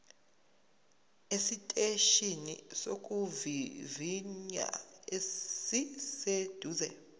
esiteshini sokuvivinya esiseduze